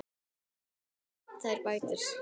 Þá renna þær betur saman.